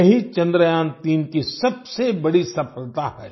यही चंद्रयान3 की सबसे बड़ी सफलता है